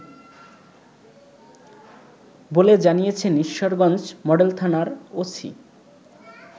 বলে জানিয়েছেন ঈশ্বরগঞ্জ মডেল থানার ওসি